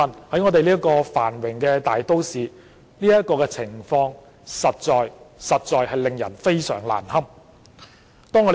在香港這個繁榮的大都市裏，這個情況實在令人非常難堪。